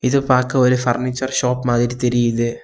இது பாக்க ஒரு ஃபர்னிச்சர் ஷாப் மாதிரி தெரியுது.